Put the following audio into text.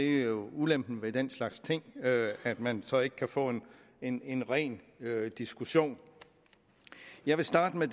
jo ulempen ved den slags ting at man så ikke kan få en en ren diskussion jeg vil starte med